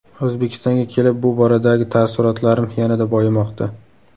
O‘zbekistonga kelib bu boradagi taassurotlarim yanada boyimoqda.